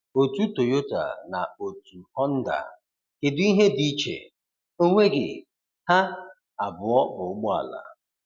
Otú Toyota na otu Honda, kedụ ihe dị iche, onweghi! Ha abụọ bụ ụgbọala